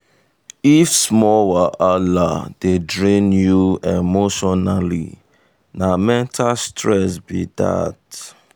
if small wahala dey drain you emotionally na mental stress be that.